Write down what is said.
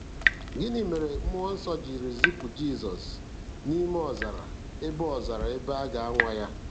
Gịnị mere Mmụọ Nsọ jiri zipụ Jizọs n'ime ọzara ebe ọzara ebe a ga-anwa ya?